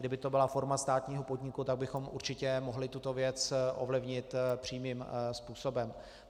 Kdyby to byla forma státního podniku, tak bychom určitě mohli tuto věc ovlivnit přímým způsobem.